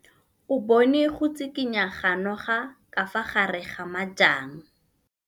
O bone go tshikinya ga noga ka fa gare ga majang.